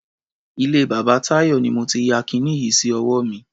Ilé bàbá Táyọ̀ ni mo ti ya kiní yìí sí ọwọ́ mi.